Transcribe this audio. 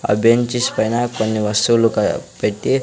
ఆ బెంచీస్ పైన కొన్ని వస్తువులు క పెట్టి --